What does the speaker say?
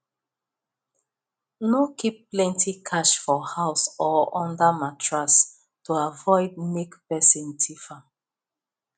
no keep plenty cash for house or under mattress to avoid make person thief am